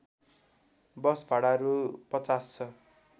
बस भाडा रु ५० छ